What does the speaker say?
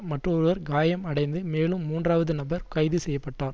மற்றொருவர் காயம் அடைந்து மேலும் மூன்றாவது நபர் கைது செய்ய பட்டார்